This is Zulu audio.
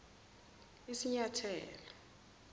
isinyathelo